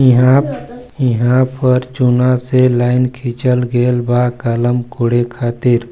इहा-इहा पर चूना से लाइन खींचल गइल बा कालम कोड़े खातिर--